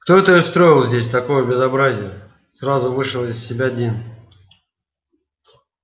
кто это устроил здесь такое безобразие сразу вышел из себя дин